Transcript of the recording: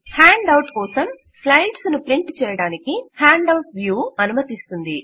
hand out కోసం slides ను print చేయడానికి హేండవుట్ వ్యూ అనుమతిస్తుంది